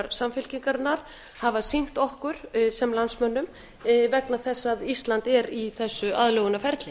samfylkingarinnar hafa sýnt okkur sem landsmönnum vegna þess að ísland er í þessu aðlögunarferli